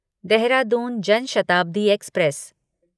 Dehradun Jan Shatabdi express